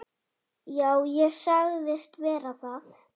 Já, ég sagðist vera það.